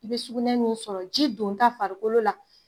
I bɛ sugunɛ min sɔrɔ, ji don ta farikolo la